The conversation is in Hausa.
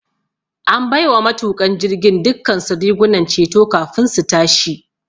An bai wa matuƙan jirgin dukkansu rigunan ceto kafin su tashi.